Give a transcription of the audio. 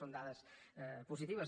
són dades positives